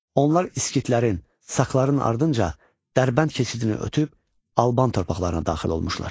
Onlar iskitlərin, sakların ardınca Dərbənd keçidini ötüb Alban torpaqlarına daxil olmuşlar.